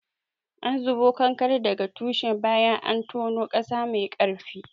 An zubo kanakaren daga tushe bayan an tono ƙasa mai ƙarfi.